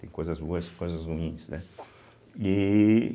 Tem coisas boas e coisas ruins, né? e